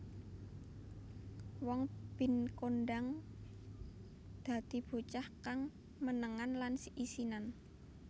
Won Bin kondhang dadi bocah kang menengan lan isinan